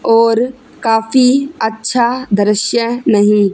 और काफी अच्छा दृश्य नही--